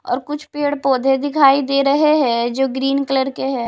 और कुछ पेड़-पौधे दिखाई दे रहे हैं जो ग्रीन कलर के हैं।